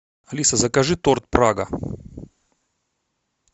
алиса закажи торт прага